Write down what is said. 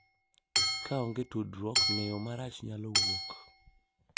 Ka onge tudruok, ng’eyo marach nyalo wuok,